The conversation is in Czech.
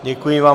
Děkuji vám.